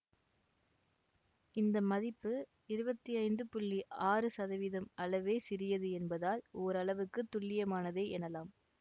இந்த மதிப்பு இருபத்தி ஐந்து புள்ளி ஆறு சதவீதம் அளவே சிறியது என்பதால் ஓரளவுக்குத் துல்லியமானதே எனலாம்